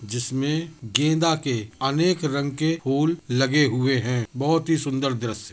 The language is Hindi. जिसमें गेंदा के अनेक रंग के फूल लगे हुए हैं बहोत ही सुन्दर द्रश्य।